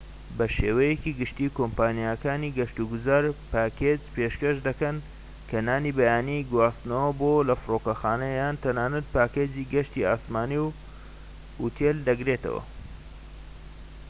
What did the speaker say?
بە شێوەیەکی گشتى کۆمپانیاکانی گەشت و گوزار پاکێج پێشکەش دەکەن کە نانی بەیانی، گواستنەوە بۆ/لە فرۆکەخانە یان تەنانەت پاکێجی گەشتی ئاسمانی و ئوتێل دەگرێتەوە